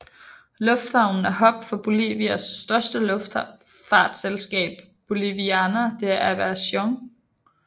Lufthaven er hub for Bolivias største luftfartsselskab Boliviana de Aviación